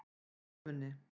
Skeifunni